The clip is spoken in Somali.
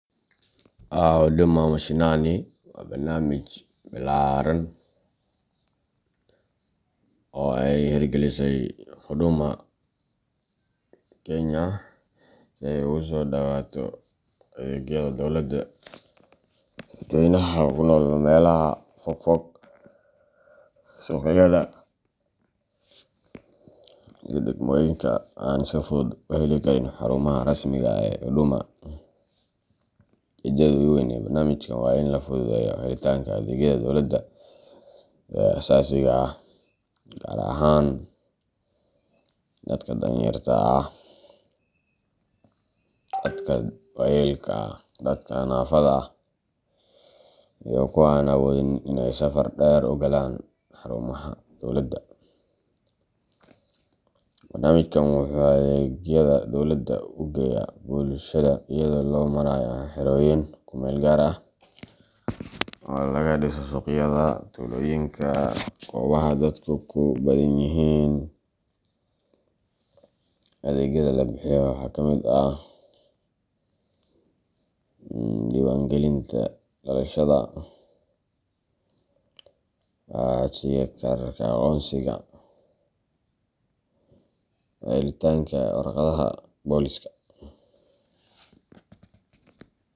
Huduma Mashinani waa barnaamij ballaaran oo ay hirgelisay Huduma Kenya si ay ugu soo dhowaato adeegyada dowladda dadweynaha ku nool meelaha fogfog, suuqyada, iyo degmooyinka aan si fudud u heli karin xarumaha rasmiga ah ee Huduma. Ujeeddada ugu weyn ee barnaamijkan waa in la fududeeyo helitaanka adeegyada dowladda ee aasaasiga ah, gaar ahaan dadka danyarta ah, dadka waayeelka ah, dadka naafada ah, iyo kuwa aan awoodin in ay safar dheer u galaan xarumaha dowladda. Barnaamijkan wuxuu adeegyada dowladda u geeyaa bulshada iyadoo loo marayo xerooyin ku meel gaar ah oo laga dhiso suuqyada, tuulooyinka, iyo goobaha dadku ku badan yihiin. Adeegyada la bixiyo waxaa ka mid ah: diiwaangelinta dhalashada, codsiga kaararka aqoonsiga , helitaanka warqadaha booliska.